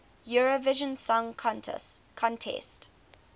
eurovision song contest